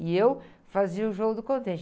E eu fazia o jogo do contente.